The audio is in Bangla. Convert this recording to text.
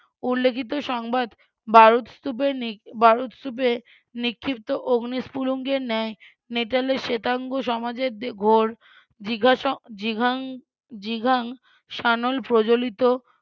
উল্লিখিত সংবাদ বারুদস্তুপের বারুদস্তুপের নিক্ষিপ্ত অগ্নি স্ফুলিঙ্গের ন্যায় নেটালের শ্বেতাঙ্গ সমাজের ঘোর জিজ্ঞাসা ~ জিঘাংসালন প্রজ্বলিত